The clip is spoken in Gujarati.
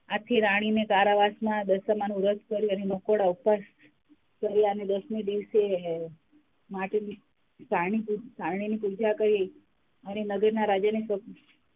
આથી રાણીને કારાવાસમાં દશામાનું વ્રત કર્યું અને નકોડાં ઉપવાસ કર્યા અને દસમે દિવશે માટીની સારણી ની પુજા કરી અને નગરના રાજાને,